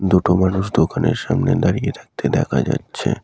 দুটো মানুষ দোকানের সামনে দাঁড়িয়ে থাকতে দেখা যাচ্ছে ।